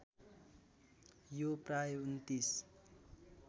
यो प्राय २९